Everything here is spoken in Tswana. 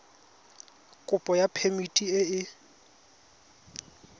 kopo ya phemiti e e